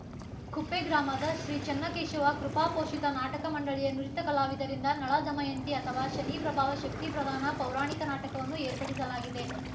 ಕುಪ್ಪೆ ಗ್ರಾಮದ ಶ್ರೀ ಚನ್ನಕೇಶವ ಕೃಪಾ ಪೋಷಿತ ನಾಟಕ ಮಂಡಳಿಯ ನುರಿತ ಕಲಾವಿದರಿಂದ ನಳ ದಮಯಂತಿ ಅಥವಾ ಶನಿ ಪ್ರಭಾವ ಶಕ್ತಿ ಪ್ರಧಾನ ಪೌರಾಣಿಕ ನಾಟಕವನ್ನು ಏರ್ಪಡಿಸಲಾಗಿದೆ